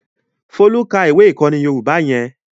Folú ka ìwé-ìkọ́ni èdè Yorùbá yẹn?